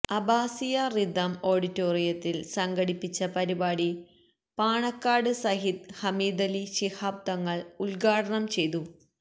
അബ്ബാസിയ rhythm ഓഡിറ്റോറിയത്തിൽ സംഘടിപ്പിച്ച പരിപാടി പാണക്കാട് സയ്യിദ് ഹമീദലി ശിഹാബ് തങ്ങൾ ഉദ്ഘാടനം ചെയ്തു